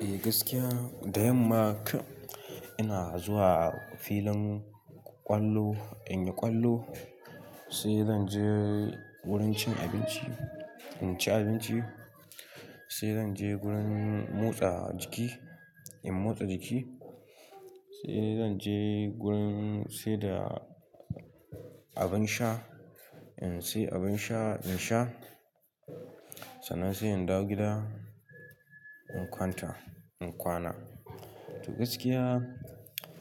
Eh gaskiya, da yamma ina zuwa filin ƙwallo in yi ƙwallo, sai zan je wurin cin abinci in ci abinci, sai zan je wurin motsa jiki in motsa jiki, sai zan je wurin siyar da abin sha in sai abin sha in sha. Sannan sai in dawo gida in kwanta, in kwana. To gaskiya,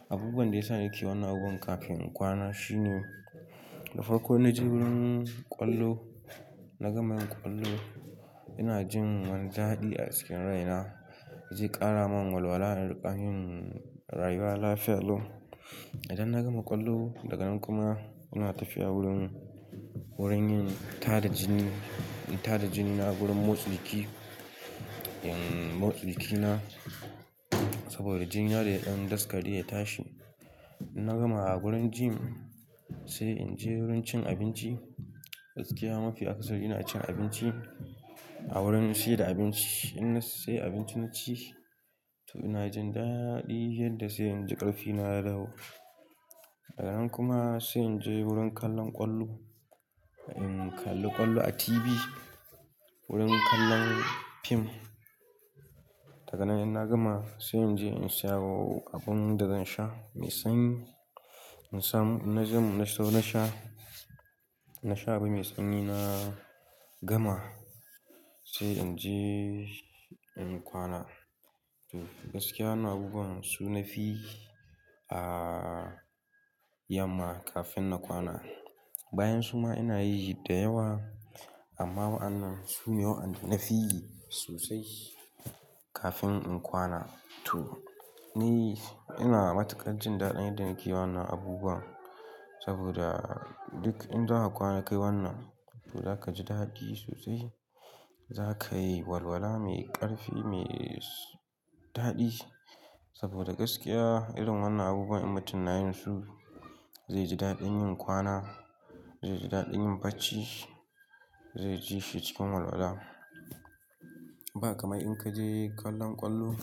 abubuwan da yasa nake wannan abubuwa kafin in kwana shine, da farko ina je wurin ƙwallo, na gama yin ƙwallo ina jin wani daɗi a cikin raina. Ya je ƙara min walwala in riƙa yin rayuwa lafiya allo. Idan na gama ƙwallo daga nan kuma ina tafiya wurin, wurin yin tada jini, in tada jini na a wurin motsa jiki, in motsa jikina. Saboda jini na da ya ɗan daskare ya tashi. Na gama a wurin gym sai in je wurin cin abinci. Gaskiya mafi akasari ina cin abinci a wurin siyar da abinci. Inna sai abinci na ci to ina jin daɗi yadda sai inji ƙarfi na ya dawo. Daga nan kuma sai in je wurin kallon ƙwallo, in kalli ƙwallo a TV, wurin kallon fim. Daga nan idan na gama sai in je in siya wa abun da zan sha mai sanyi, in samu ina je mun sau na sha. Na sha abin mai sanyi na gama sai in je in kwana. To gaskiya wannan abubuwan su na fi a yamma kafin na kwana. Bayan suma ina yi shi da yawa amma wa'annan su ne waɗanda na fi sosai kafin in kwana. To ni ina matukar jin daɗin idan nake wannan abubuwan saboda duk in za ka kwana ka yi wannan to za ka ji daɗi sosai. Za ka yi walwala mai ƙarfi, mai daɗi. Saboda gaskiya irin wannan abubuwan in mutum na yin su zai ji daɗin yin kwana, zai ji daɗin yin bacci, zai ji shi cikin walwala. Ba kamar in ka je kallon ƙwallo,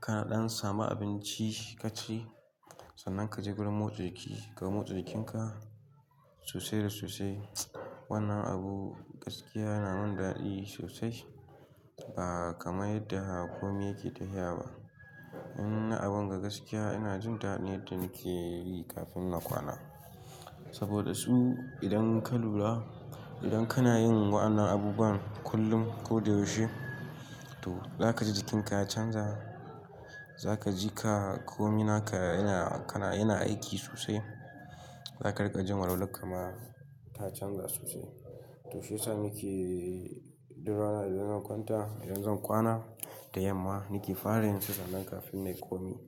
kana ɗan samu abinci ka ci, sannan ka je wurin motsa jiki ka motsa jikinka sosai da sosai. Wannan abu gaskiya yana min daɗi sosai ba kamar yadda komai yake taya ba. In na abun ga gaskiya ina jin daɗin yadda nake yi kafin na kwana. Saboda su idan ka lura, idan kana yin wannan abubuwan kullum ko da yaushe to za ka ji jikinka ya canza, za ka ji ka komi naka yana, kana, yana aiki sosai. Za ka riƙa jin walwala kuma ta canza sosai. To shi yasa nake ɗura nan idan zan kwanta, idan zan kwana da yamma nake fara yin su sannan kafin na yi komai.